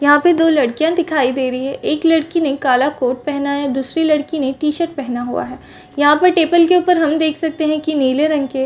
यहाँ पे दो लड़किया दिखाई दे रही एक लड़की ने काला कोट पहना हैं दूसरी लड़की ने टी शर्ट पहना हुआ है यहाँ पर टेबल के ऊपर हम देख सकते की नीले रंग के --